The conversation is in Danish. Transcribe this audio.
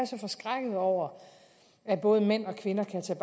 så forskrækket over at både mænd og kvinder kan tage